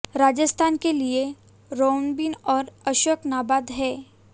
राजस्थान के लिए रोबिन और अशोक नाबाद हैं